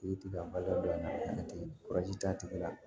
U ye tɛgɛrɛ dɔn a la ten t'a tigi la